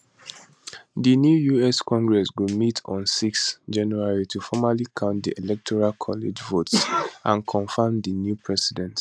di new us congress go meet on 6 january to formally count di electoral college votes and confam di new president